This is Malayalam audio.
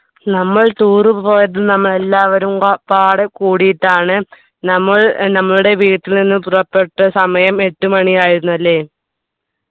നമ്മൾ tour പോയത് നമ്മൾ എല്ലാവരും ക പാട് കൂടിയിട്ടാണ് നമ്മൾ ഏർ നമ്മളുടെ വീട്ടിൽ നിന്ന് പുറപ്പെട്ട സമയം എട്ടു മണി ആയിരുന്നു അല്ലേ